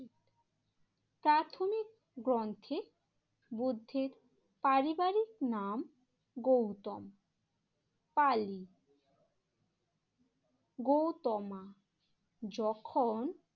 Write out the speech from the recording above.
প্রাথমিক গ্রন্থে বুদ্ধির পারিবারিক নাম গৌতম, পালি, গৌতমা যখন